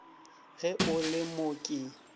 ge o le mo ke